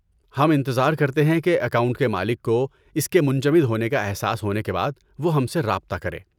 ہم انتظار کرتے ہیں کہ اکاؤنٹ کے مالک کو اس کے منجمد ہونے کا احساس ہونے کے بعد وہ ہم سے رابطہ کرے۔